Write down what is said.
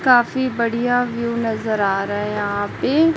काफी बढ़िया व्यू नजर आ रहा है यहां पे।